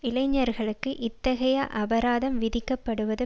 இளைஞர்களுக்கு இத்தகைய அபராதம் விதிக்கப்படுவது